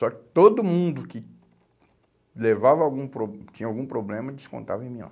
Só que todo mundo que levava algum pro, tinha algum problema, descontava em mim.